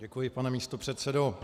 Děkuji, pane místopředsedo.